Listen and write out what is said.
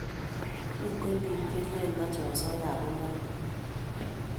Miten pik che lelen mache osoya ako name